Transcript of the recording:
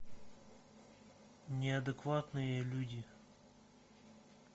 неадекватные люди